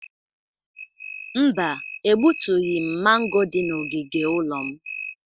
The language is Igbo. Mba, egbutughi m mango dị n'ogige ụlọ m.